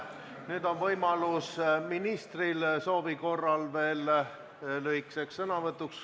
Nüüd on ministril soovi korral võimalus lühikeseks sõnavõtuks.